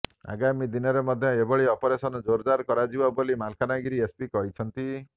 ଆଗାମୀ ଦିନରେ ମଧ୍ୟ ଏଭଳି ଅପରେସନ ଜେରଦାର କରାଯିବ ବୋଲି ମାଲକାନଗିରି ଏସପି କହିଛନ୍ତି